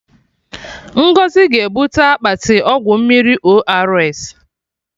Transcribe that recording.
Ngọzi ga-ebute akpati ọgwụ mmiri ORS